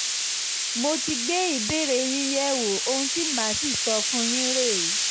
mo ti gbé ìbéèrè yín yẹ̀wò ohun tí mà á sì sọ fún yín rèé